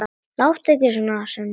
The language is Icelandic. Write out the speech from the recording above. Láttu ekki svona, Svenni.